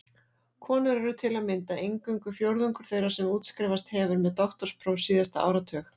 Konur eru til að mynda eingöngu fjórðungur þeirra sem útskrifast hefur með doktorspróf síðasta áratug.